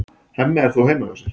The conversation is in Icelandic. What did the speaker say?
Hemmi er þó heima hjá sér.